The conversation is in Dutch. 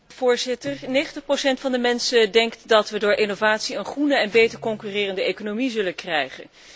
Voorzitter, 90 procent van de mensen denkt dat we door innovatie een groene en beter concurrerende economie zullen krijgen.